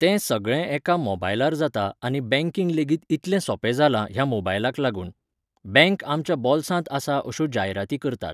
तें सगळें एका मोबायलार जाता आनी बॅंकींग लेगीत इतलें सोंपें जालां ह्या मोबायलाक लागून. बॅंक आमच्या बोल्सांत आसा अश्यो जायराती करतात.